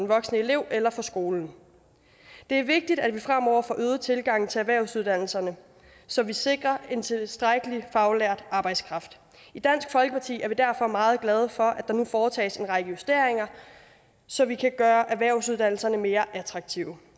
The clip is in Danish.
voksne elever eller for skolen det er vigtigt at vi fremover får øget tilgangen til erhvervsuddannelserne så vi sikrer en tilstrækkelig faglært arbejdskraft i dansk folkeparti er vi derfor meget glade for at der nu foretages en række justeringer så vi kan gøre erhvervsuddannelserne mere attraktive